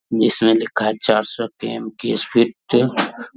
जिसमे लिखा है चार सौ ।